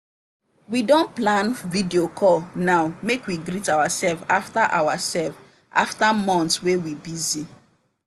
we don plan video call now make we greet ourselves after ourselves after months wey we busy.